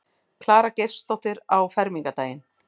Klara Geirsdóttir á fermingardaginn.